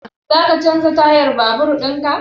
Za ka canza tayan babur in ka?